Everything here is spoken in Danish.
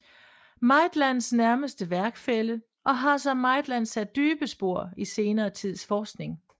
Maitlands nærmeste værkfælle og har som Maitland sat dybe spor i senere tids forskning